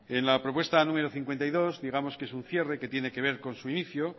la propuesta número cincuenta y dos digamos que es un cierre que tiene que ver con su inicio